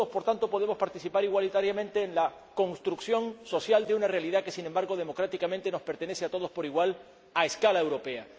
No todos, por tanto, podemos participar igualitariamente en la construcción social de una realidad que, sin embargo, democráticamente, nos pertenece a todos por igual a escala europea.